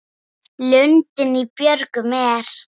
Lundinn í björgum er.